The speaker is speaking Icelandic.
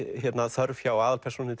þörf hjá aðalpersónunni